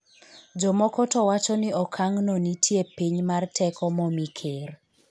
jomoko to wacho ni okang' no nitie piny mar teko momi ker